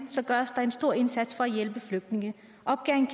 gøres der en stor indsats for at hjælpe flygtningene opgaven